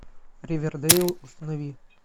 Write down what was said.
ривердейл установи